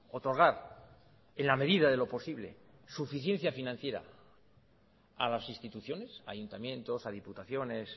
otorgar en la medida de lo posible suficiencia financiera a las instituciones ayuntamientos a diputaciones